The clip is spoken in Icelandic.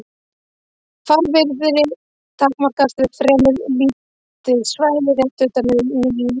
Fárviðrið takmarkast við fremur lítið svæði rétt utan við miðju kerfisins.